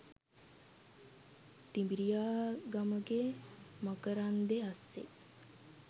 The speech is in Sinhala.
තිඹිරියාගමගෙ මකරන්දෙ අස්සෙ